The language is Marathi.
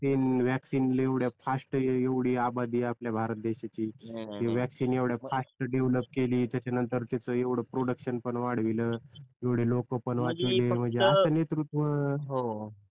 ते अं वॅक्सिन एवढ्या फास्ट एवढी आबादी आहे आपल्या भारत देशाची ते वॅक्सिन एवढ्या फास्ट डेव्हलोप केली त्याच्यानंतर त्याच एवढं प्रोडूकशन पण वाढवलं एवढी लोक पण वाचवले म्हणजे असं नेतृत्व